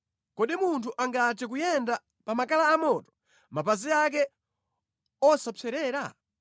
Kodi munthu angathe kuyenda pa makala amoto mapazi ake osapserera?